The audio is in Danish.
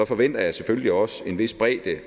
forventer jeg selvfølgelig også en vis bredde